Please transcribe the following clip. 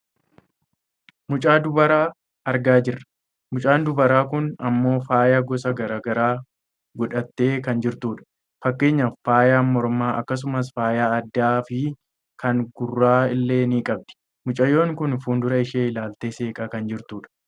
Mucaa dubaraa argaa jirra . Mucaan dubaraa kun ammoo faaya gosa gara garaa godhattee kan jirtudha. Fakkeenyaaf faaya mormaa akkasumas fayaa addaafi kan gurraa illee ni qabdi. Mucayyoon kun fuuldura ishee ilaaltee seeqaa kan jirtudha.